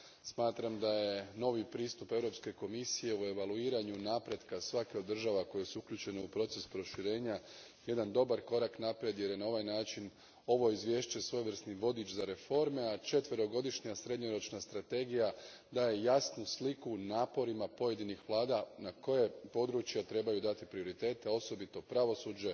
Smatram da je novi pristup Europske komisije u evaluiranju napretka svake od država koje su uključene u proces proširenja jedan dobar korak naprijed, jer je na ovaj način ovo izvješće svojevrsni vodič za reforme, a četverogodišnja srednjoročna strategija daje jasnu sliku naporima pojedinih vlada kojim područjima trebaju dati prioritete, osobito pravosuđu,